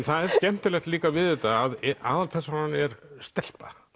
það er skemmtilegt líka við þetta að aðalpersónan er stelpa